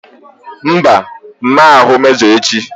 Mba! M ma ahụ mejọ echi.